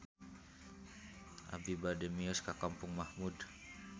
Abi bade mios ka Kampung Mahmud